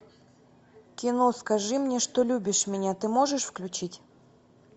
кино скажи мне что любишь меня ты можешь включить